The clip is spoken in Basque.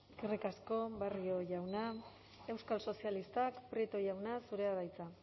eskerrik asko barrio jauna euskal sozialistak prieto jauna zurea da hitza